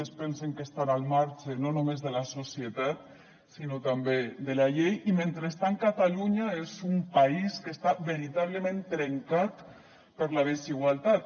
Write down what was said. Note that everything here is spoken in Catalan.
es pensen que estan al marge no només de la societat sinó també de la llei i mentrestant catalunya és un país que està veritablement trencat per la desigualtat